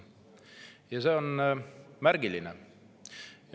Ja see on märgiline.